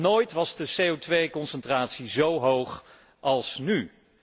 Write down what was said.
Nog nooit was de CO concentratie zo hoog als nu.